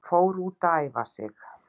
Fór út að æfa sig